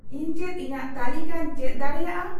ᱤᱧ ᱪᱮᱫ ᱤᱧᱟᱹᱜ ᱛᱟᱞᱤᱠᱟ ᱤᱧ ᱪᱮᱫ ᱫᱟᱲᱮᱭᱟᱜᱼᱟ